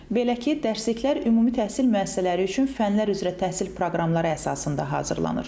Belə ki, dərsliklər ümumi təhsil müəssisələri üçün fənlər üzrə təhsil proqramları əsasında hazırlanır.